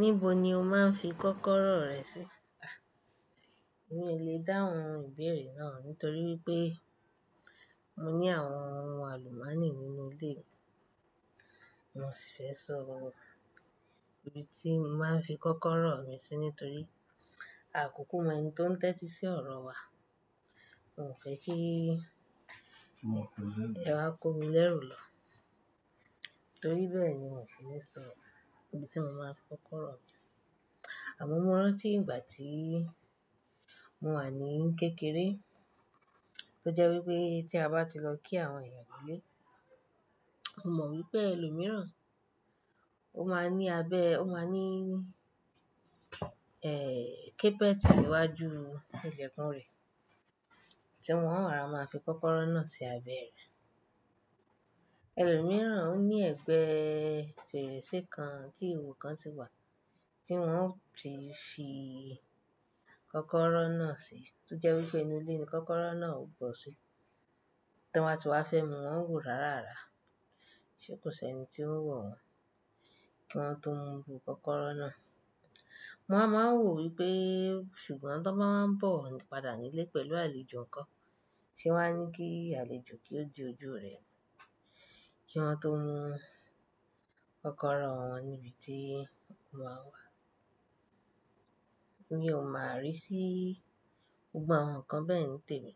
Níbo ni o máa ń fi kọ́kọ́rọ́ rẹ sí? A! Mi ò lè dáhùn ìbéèrè náà, nítorí wípé mo ní àwọn ọmọ àlùmákì nínú ilé mi. Mo sì fẹ́ sọ ibi tí mo máa ń fi kọ́kọ́rọ́ mi sí nítorí àkókò mẹ́ni tó ń tẹ́tí sí ọ̀rọ̀ wa. Mo ò fẹ́ kí ẹ wá ko mi lẹ́rù lọ, torí bẹ́ẹ̀ ni mo ṣe lè sọ ibi tí mo máa ń fi kọ́kọ́rọ́ mi. Àmọ́ mo rántí ìgbà tí mo wà ní kékeré, tó jẹ́ wípé tí a bá ti lọ kí àwọn eyán nílé, mo mọ̀ wípé ẹlòmíràn ó máa ní abẹ́, ó máa ní, ẹ́, kébẹ̀tì síwájú ilẹ̀kùn rẹ̀ tí wọ́n máa ra máa fi kọ́kọ́rọ́ náà sí abẹ́ rẹ̀. Ẹlòmíràn ò ń ní ẹ̀gbẹ́ fèrèsé kan ti ìhò kan sì wà tí wọ́n ó ti fi kọ́kọ́rọ́ náà sí, tó jẹ́ wípé inú ilé ni kọ́kọ́rọ́ náà ò bọ́ sí. Tí wọ́n bá ti wá fẹ́ mu, wọ́n ń wò rárá rárá. Ṣé kò sí ẹni tí ó ń wò ó kí wọ́n tó mu kọ́kọ́rọ́ náà? Wọ́n a máa ń wò wípé ṣùgbọ́n tó bá wá ń bọ̀ padà nílé pẹ̀lú àlejò kan tí wọ́n á ní kí àlejò kí ó di ojú rẹ̀ kí wọ́n tó mu kọ́kọ́rọ́ wọn níbi tí wọ́n wà. Mi ò mọ àrí sí gbogbo àwọn nǹkan bẹ́ẹ̀ nítèmi.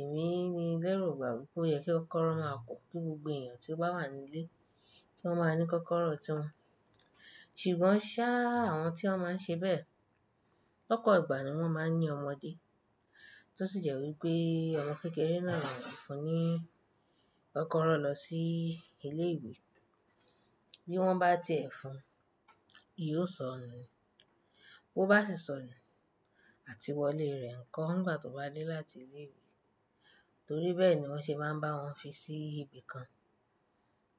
Èmi ni lẹ́rù ìgbà wípé ó yẹ kí kọ́kọ́rọ́ máa kún gbogbo èèyàn tí ó bá wà nílé tí wọ́n máa ní kọ́kọ́rọ́ tí wọn. Ṣùgbọ́n ṣá, àwọn tí wọ́n máa ń ṣe bẹ́ẹ̀, lọ́pọ̀ ìgbà ni wọ́n máa ń ní ọmọdé tó sì jẹ́ wípé ọmọ kékeré náà yóò fún ní kọ́kọ́rọ́ lọ sí ilé ìwé. Bí wọ́n bá tẹ́ ẹ fun, ìyí ó sọnù. Ó bá sì sọnù àti wọlé rẹ̀ ńkọ́ nígbà tó bá dé láti ilé ìwé. Torí bẹ́ẹ̀ ni wọ́n ṣe máa ń bá wọn fi sí ibi kan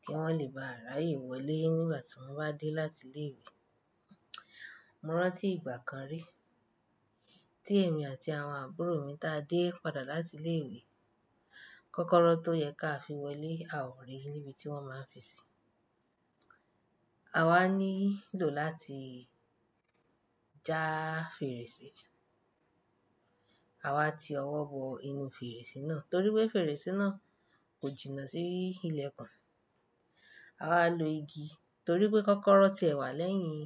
kí wọ́n lè bá rà yè wọlé nígbà tí wọ́n bá dé láti ilé ìwé. Mo rántí ìgbà kan rí tí èmi àti àwọn àbúrò mi táa dé padà láti ilé ìwé, kọ́kọ́rọ́ tó yẹ ká fi wọlé a ò rí níbi tí wọ́n máa ń fi sí. A wá nílò láti já fèrèsé. A wá ti ọwọ́ bọ inú fèrèsé náà torí pé fèrèsé náà kò jìnnà sí ilẹ̀kùn. A wá lo igi torí pé kọ́kọ́rọ́ ti ẹ̀wà lẹ́yìn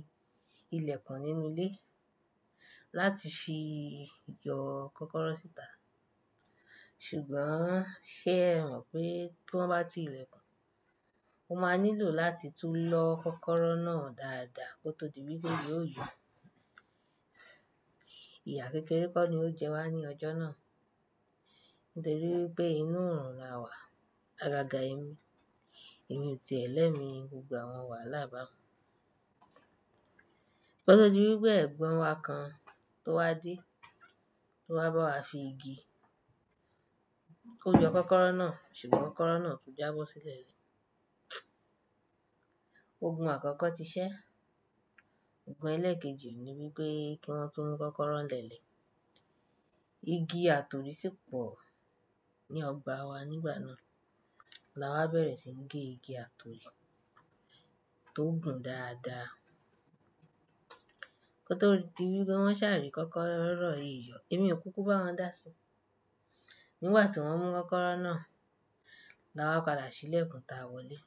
ilẹ̀kùn nínú ilé láti fi yọ kọ́kọ́rọ́ síta. Ṣùgbọ́n ṣé ẹ mọ̀ pé kí wọ́n bá ti ilẹ̀kùn, o máa nílò láti tún lọ́ kọ́kọ́rọ́ náà dáadáa kó tó di wípé yóò yún. Ìyà kékeré kó ni ó jẹ́ wá ní ọjọ́ náà nítorí wípé inú òòrùn la wà. Àgàgà ẹ̀mí, ẹ̀mí ti ẹ̀lẹ́ mi gbogbo àwọn wà lábá. Kó tó di wípé ẹ̀gbọ́n wa kan tó wá dé, tó wá bá wa fi igi, ó yò kọ́kọ́rọ́ náà, ṣùgbọ́n kọ́kọ́rọ́ náà tó jábọ́ sílẹ̀. Oògùn àkọ́kọ́ ti ṣẹ́, oògùn ẹlẹ́ẹ̀kejì ni wípé kí wọ́n tó mú kọ́kọ́rọ́ lẹ́lẹ̀. Igi àtòrí sì pọ̀ ní ọgbà wa nígbà náà. La wá bẹ̀rẹ̀ sí ní gé igi àtòrí tó gùn dáadáa. Kó tó di wípé wọ́n ṣàrì kọ́kọ́rọ́ èèyọ̀, èmi ò kúkú bá wọn dàsí. Nígbà tí wọ́n mú kọ́kọ́rọ́ náà, la wá padà sílẹ̀kùn táa wọlé.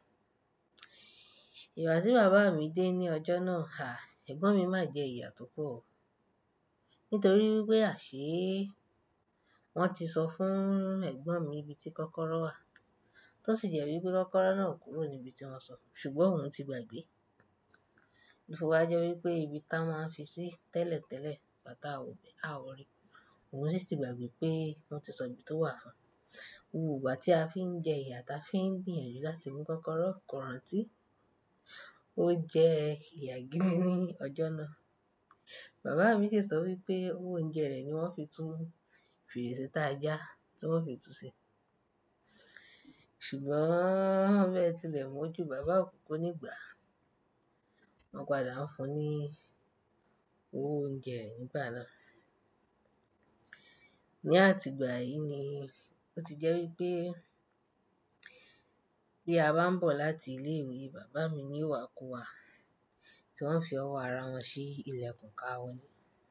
Ìgbà tí bàbá mi dé ní ọjọ́ náà, àì, ẹ̀gbọ́n mi máa jẹ ìyà tó pọ̀ o. Nítorí wípé àṣé, wọ́n ti sọ fún ẹ̀gbọ́n mi ibi tí kọ́kọ́rọ́ wà tó sì jẹ́ wípé kọ́kọ́rọ́ náà kúrò ní ibi tí wọ́n sọ, ṣùgbọ́n òun ti gbàgbé. Ìfowó jẹ́ wípé ibi táa máa ń fi sí tẹ́lẹ̀tẹ́lẹ̀ bá tà wọ̀, a ó rí. Òun sì ti gbàgbé pé wọ́n ti sọ ibi tó wà fún un. Oòrùn ìgbà tí a fi ń jẹ ìyà táa fi ń gbìyànjú láti mú kọ́kọ́rọ́, kò rántí. Ó jẹ ìyà gidi ní ọjọ́ náà. Bàbá mi sì sọ wípé oúnjẹ rẹ̀ ni wọ́n fi tún fèrèsé táa já tí wọ́n fi tú se. Ṣùgbọ́n bẹ́ẹ̀ tilẹ̀, mo jù bàbá òkúkú nígbà. Wọ́n padà ń fún un ní owò oúnjẹ rẹ̀ nígbà náà. Ni àtìgbà yìí ni ó ti jẹ́ wípé bí a bá ń bọ̀ láti ilé ìwé, bàbá mi ni ó wá kó wa tí wọ́n fi ọwọ́ ara wọn sí ilẹ̀kùn ká wọn ni.